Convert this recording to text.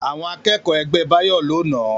Àwọn akẹ́kọ̀ọ́ ẹgbẹ́ Báyọ̀ ló nàá